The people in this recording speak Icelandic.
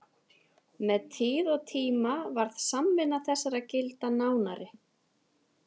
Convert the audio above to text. Með tíð og tíma varð samvinna þessara gilda nánari.